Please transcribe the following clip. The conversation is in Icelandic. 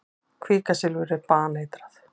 Kvikasilfur er baneitrað.